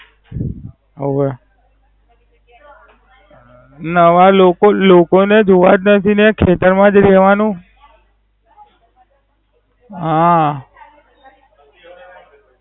હોવે. નવા લોકો લોકો જોવા જ નથી ને ખેતર માં જ રેવાનું. હા.